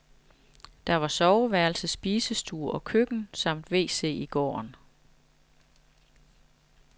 Der var soveværelse, spisestue og køkken samt wc i gården.